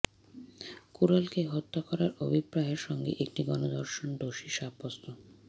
কোরালকে হত্যা করার অভিপ্রায় সঙ্গে একটি গণধর্ষণ দোষী সাব্যস্ত